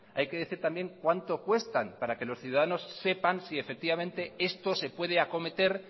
hay que decir también cuánto cuestan para que los ciudadanos sepan si efectivamente esto se puede acometer